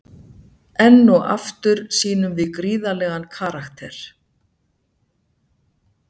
Enn og aftur sýnum við gríðarlegan karakter.